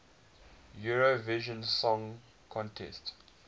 eurovision song contest